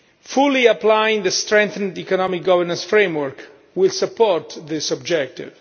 Fully applying the strengthened economic governance framework will support this objective.